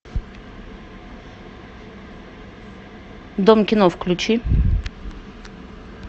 дом кино включи